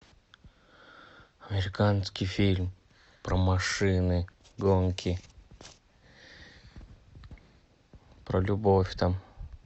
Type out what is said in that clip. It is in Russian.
американский фильм про машины гонки про любовь там